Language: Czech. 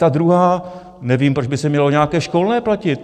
Ta druhá: Nevím, proč by se mělo nějaké školné platit.